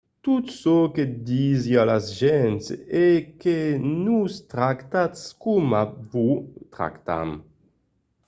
tot çò que disi a las gents es que nos tractatz coma vos tractam